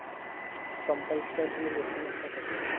compulsoryly घेतलं नसत कोणीन